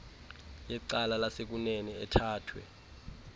yecala lasekunene ethathwe